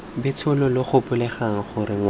betsho lo gopoleng gore ngwana